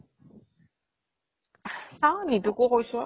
চাওঁ নিতুকো কৈছো